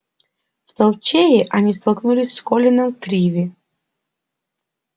в толчее они столкнулись с колином криви